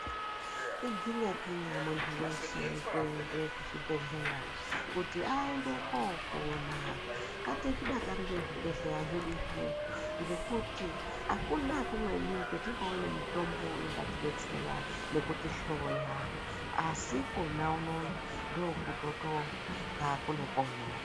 Iginyakinya muntu weshe kuende kuchibhedhleya kuti aende kopona ngatizvidakarire zvibhedhleya zvedu zvinezvi ngekuti akuna kumweni kwatingawane mitombo ingatidetsera nekutihloya asi kona unono ndokunotonga kune pono.